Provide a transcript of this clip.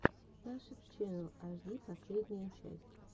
нашид ченнал аш ди последняя часть